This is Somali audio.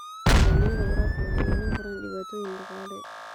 Nidaamyada waraabka waxay yeelan karaan dhibaatooyin dhaqaale.